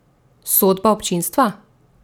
Sodba občinstva?